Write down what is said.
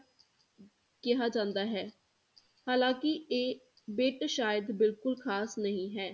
ਕਿਹਾ ਜਾਂਦਾ ਹੈ ਹਾਲਾਂਕਿ ਇਹ ਬਿੱਟ ਸ਼ਾਇਦ ਬਿਲਕੁਲ ਖਾਸ ਨਹੀਂ ਹੈ।